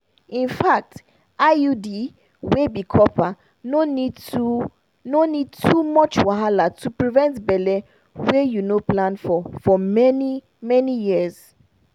infact iud wey be copper no need too no need too much wahala to prevent belle wey you no plan for for many-many years.